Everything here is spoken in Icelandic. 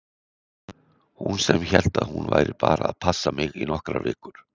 Hún sem hélt að hún væri bara að passa mig í nokkrar vikur!